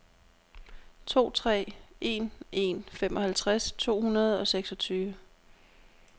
to tre en en femoghalvtreds to hundrede og seksogtyve